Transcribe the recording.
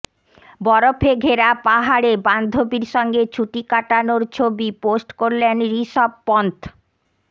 বরফে ঘেরা পাহাড়ে বান্ধবীর সঙ্গে ছুটি কাটানোর ছবি পোস্ট করলেন ঋষভ পন্থ